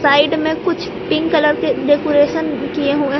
side में कुछ pink colour के कुछ डेकोरेशन किए हुए--